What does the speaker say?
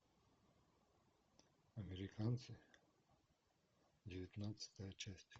американцы девятнадцатая часть